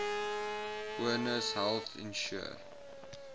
ones health insure